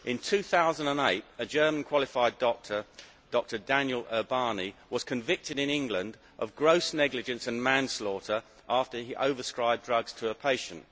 In 2008, a German qualified doctor, Dr Daniel Ubani, was convicted in England of gross negligence and manslaughter after he overprescribed drugs to a patient.